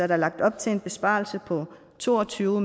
der lagt op til en besparelse på to og tyve